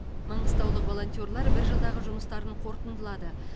маңғыстаулық волонтерлер бір жылдағы жұмыстарын қорытындылады